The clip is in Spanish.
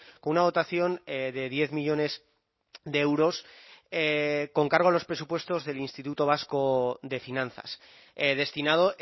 con una dotación de diez millónes de euros con cargo a los presupuestos del instituto vasco de finanzas destinado